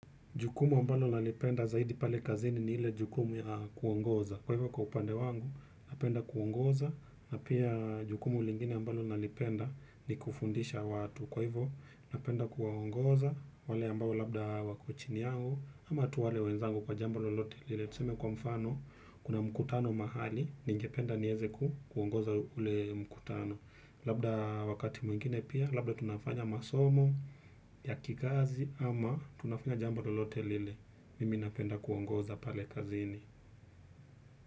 Jukumu ambalo nalipenda zaidi pale kazini ni ile jukumu ya kuongoza. Kwa hivyo kwa upande wangu, napenda kuongoza. Na pia jukumu lingine ambalo nalipenda ni kufundisha watu. Kwa hivyo, napenda kuwaongoza wale ambayo labda wako chini yangu ama tu wale wenzangu kwa jambo lolote lile. Tuseme kwa mfano, kuna mkutano mahali, ningependa nieze ku kuongoza ule mkutano. Labda wakati mwingine pia, labda tunafanya masomo ya kikazi ama tunafanya jambo lolote lile mimi napenda kuongoza pale kazini.